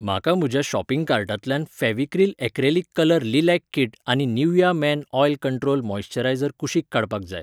म्हाका म्हज्या शॉपिंग कार्टांतल्यान Fevicryl acrylic colour lilac kit आनी Nivea men oil control moisturiser कुशीक काडपाक जाय.